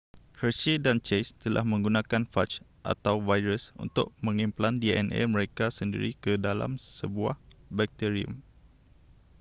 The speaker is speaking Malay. hershey dan chase telah menggunakan faj atau virus untuk mengimplan dna mereka sendiri ke dalam sebuah bakterium